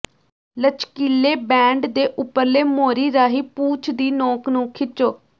ਲਚਕੀਲੇ band ਦੇ ਉੱਪਰਲੇ ਮੋਰੀ ਰਾਹੀਂ ਪੂਛ ਦੀ ਨੋਕ ਨੂੰ ਖਿੱਚੋ